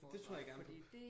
Jeg tror jeg gerne